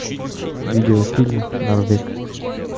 видеофильм норвег